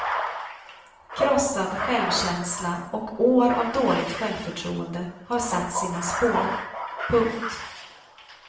Krossad självkänsla och år av dåligt självförtroende har satt sina spår. punkt